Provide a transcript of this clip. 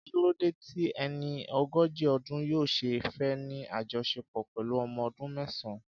Kí ló dé tí ẹni ogójì ọdún yóò ṣe fẹ́ ní àjọṣepọ̀ pẹ̀lú ọmọ ọdún mẹ́sàn-án?